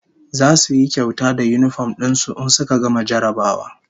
Zasu yi kyauta da yinifom din su in suka gama jarrabawa